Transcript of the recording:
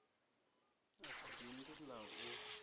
a si dindi la u